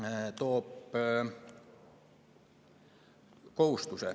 See toob kohustuse.